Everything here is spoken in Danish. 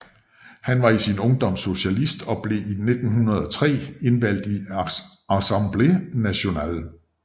Han var i sin ungdom socialist og blev i 1903 indvalgt i Assemblée Nationale